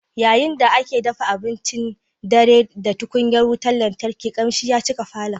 Yayin da ake dafa abincin dare da tukunyar wutar lantarki, kamshin ya cika falon